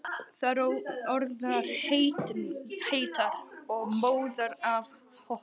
Þær orðnar heitar og móðar af hoppinu.